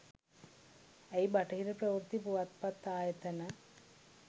අයි බටහිර ප්‍රවෘත්ති පුවත්පත් ආයතන